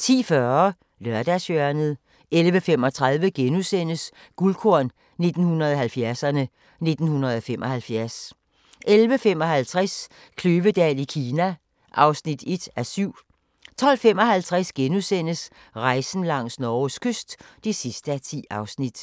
10:40: Lørdagshjørnet 11:35: Guldkorn 1970'erne: 1975 * 11:55: Kløvedal i Kina (1:7) 12:55: Rejsen langs Norges kyst (10:10)*